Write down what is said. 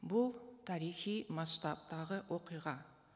бұл тарихи масштабтағы оқиға